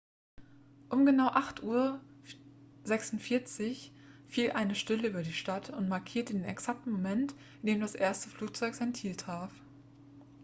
um genau 8:46 uhr fiel eine stille über die stadt und markierte den exakten moment in dem das erste flugzeug sein ziel traf